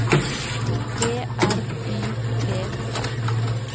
P R Y T Z